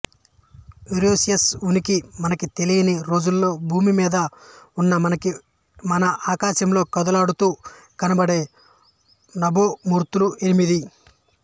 Uranus ఉనికి మనకి తెలియని రోజులలో భూమి మీద ఉన్న మనకి మన ఆకాశంలో కదలాడుతూ కనబడే నభోమూర్తులు ఎనిమిది